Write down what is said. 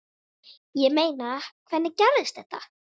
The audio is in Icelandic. Ég meina, hvernig gerðist þetta?